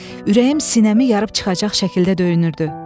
Ürəyim sinəmi yarıb çıxacaq şəkildə döyünürdü.